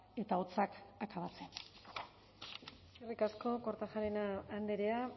eta hotzak akabatzen eskerrik asko kortajarena andrea